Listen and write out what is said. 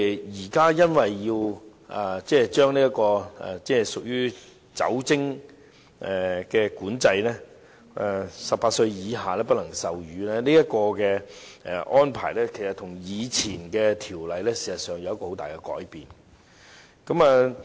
現在因為要進行酒精管制，不能售賣酒精飲品予18歲以下人士，這個安排其實跟以前的條例有很大的改變。